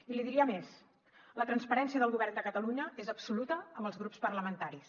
i li diria més la transparència del govern de catalunya és absoluta amb els grups parlamentaris